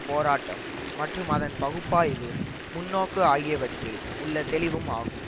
போராட்டம் மற்றும் அதன் பகுப்பாய்வு முன்னோக்கு ஆகியவற்றில் உள்ள தெளிவும் ஆகும்